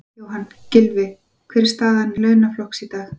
Jóhann: Gylfi, hver er staða launafólks í dag?